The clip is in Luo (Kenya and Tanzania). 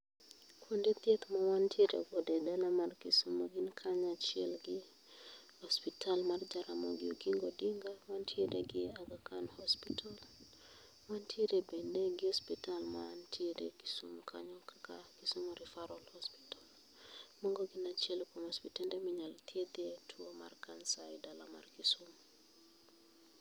Kuonde thieth ma wantierego e dala mar kisumu gin kanya chiel gi ospital mar Jaramogi Oginga Odinga, wantiere gi Aga khan Hospital, wantiere bende gi ospital mantiere Kisumu kanyo kaka Kisumu Referral Hospital mago gin achiel kuom ospitende minyalo thiethie tuo mar Kansa e dala mar Kisumu.